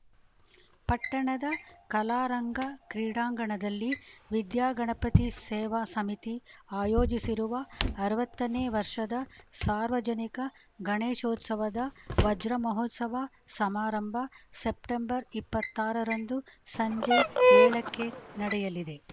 ಪಟ್ಟಣದ ಕಲಾರಂಗ ಕ್ರೀಡಾಂಗಣದಲ್ಲಿ ವಿದ್ಯಾಗಣಪತಿ ಸೇವಾ ಸಮಿತಿ ಆಯೋಜಿಸಿರುವ ಅರವತ್ತನೇ ವರ್ಷದ ಸಾರ್ವಜನಿಕ ಗಣೇಶೋತ್ಸವದ ವಜ್ರಮಹೋತ್ಸವ ಸಮಾರಂಭ ಸೆಪ್ಟೆಂಬರ್ ಇಪ್ಪತ್ತಾರರಂದು ಸಂಜೆ ಏಳಕ್ಕೆ ನಡೆಯಲಿದೆ